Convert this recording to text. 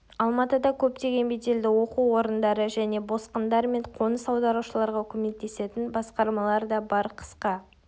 алматыда көптеген беделді оқу орындары және босқындар мен қоныс аударушыларға көмектесетін басқармалар да бар қысқа